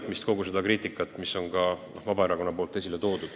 Pean silmas kogu seda kriitikat, mida Vabaerakond on teinud.